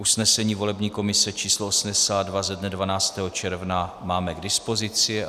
Usnesení volební komise číslo 82 ze dne 12. června máme k dispozici.